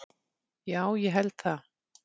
Já, ég held það